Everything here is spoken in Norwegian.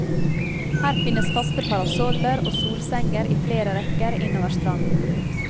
Her finnes faste parasoller og solsenger i flere rekker innover stranden.